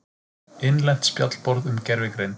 Innlent spjallborð um gervigreind.